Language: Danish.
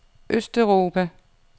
østeuropa